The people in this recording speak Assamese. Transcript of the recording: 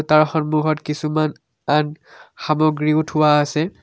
তাৰ সন্মুখত কিছুমান আন সামগ্ৰীও থোৱা আছে।